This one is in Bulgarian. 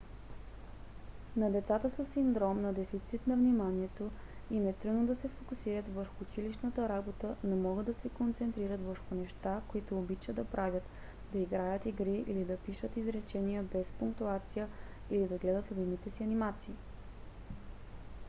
на децата със синдром на дефицит на вниманието add им е трудно да се фокусират върху училищната работа но могат да се концентрират върху неща които обичат да правят да играят игри или да пишат изречения без пунктуация или да гледат любимите си анимации